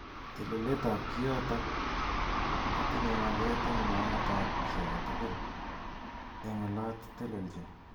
Telelet ab kiotok kotinye maket eng naet ab ki age tugul eng olot teleljin.